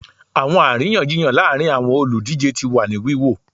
Awọn ariyanjiyan laarin awọn oludije ti wa ni wiwo